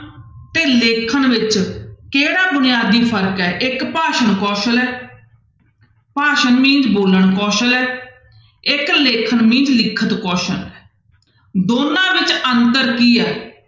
ਤੇ ਲਿਖਣ ਵਿੱਚ ਕਿਹੜਾ ਬੁਨਿਆਦੀ ਫ਼ਰਕ ਹੈ ਇੱਕ ਭਾਸ਼ਣ ਕੌਸਲ ਹੈ ਭਾਸ਼ਣ mean ਬੋਲਣ ਕੌਸਲ ਹੈ ਇੱਕ ਲੇਖਣ mean ਲਿਖਤ ਕੌਸਲ ਹੈ, ਦੋਨਾਂ ਵਿੱਚ ਅੰਤਰ ਕੀ ਆ।